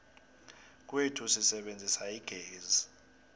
kwethu sisebenzisa igezi